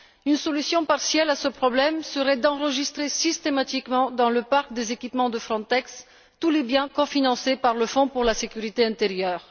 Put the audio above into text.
Une solution partielle à ce problème serait d'enregistrer systématiquement, dans le parc des équipements de Frontex, tous les biens cofinancés par le fonds pour la sécurité intérieure.